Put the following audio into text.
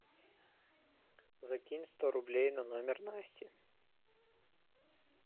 закинь сто рублей на номер насти